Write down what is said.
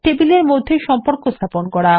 টেবিলের মধ্যে সম্পর্ক স্থাপন করা